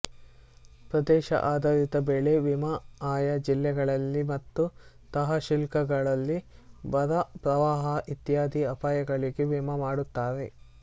ಪ್ರದೇಶ ಆಧಾರಿತ ಬೆಳೆ ವಿಮ ಆಯಾ ಜಿಲ್ಲೆಗಳಲ್ಲಿ ಮತ್ತು ತಹಶೀಲ್ಗಳಲ್ಲಿ ಬರ ಪ್ರವಾಹ ಇತ್ಯಾದಿ ಅಪಾಯಗಳಿಗೆ ವಿಮ ಮಾಡುತ್ತಾರೆ